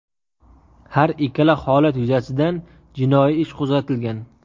Har ikkala holat yuzasidan jinoiy ish qo‘zg‘atilgan.